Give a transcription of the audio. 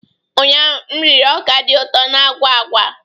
Ụnyaahụ m riri ọka dị ụtọ na agwa agwa